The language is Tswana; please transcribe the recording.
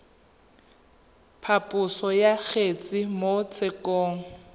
phaposo ya kgetse mo tshekong